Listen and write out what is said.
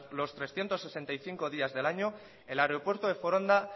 los trescientos sesenta y cinco días del año el aeropuerto de foronda